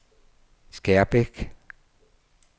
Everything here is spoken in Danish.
Skærbæk